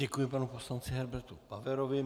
Děkuji panu poslanci Herbertu Paverovi.